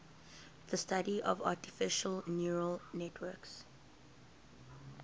the study of artificial neural networks